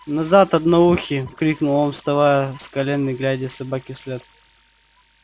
назад одноухий крикнул он вставая с колен и глядя собаке вслед